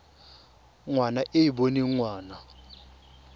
ngwana e e boneng ngwana